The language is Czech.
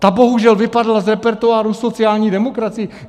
Ta bohužel vypadla z repertoáru sociální demokracii.